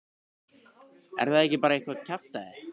Er það ekki bara eitthvað kjaftæði?